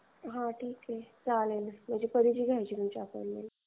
चालेल मग कधी ची घ्यायची तुमची अपॉईंटमेंट.